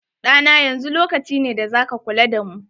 Ɗa na, yanzu lokaci ne da za ka kula da mu.